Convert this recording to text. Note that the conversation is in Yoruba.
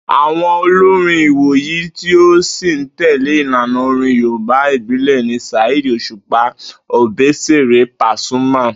Àwo̩n olórin ìwòyìí tí ó sì ń tè̩lé ìlànà orin Yorùbá ìbílè̩ ni Saheed Òsùpá, Òbésèré, Pasuma,